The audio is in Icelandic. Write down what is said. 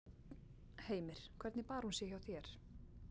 Heimir: Hvernig bar hún sig hjá þér?